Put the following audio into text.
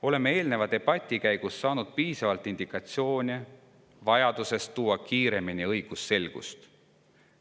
Oleme eelmise debati käigus saanud piisavalt indikatsioone vajaduse kohta kiiremini õigusselgust luua.